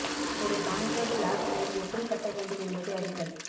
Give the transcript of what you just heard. ஒரு concrete block wall எப்படி கட்ட வேண்டும் என்பதை அறியுங்கள்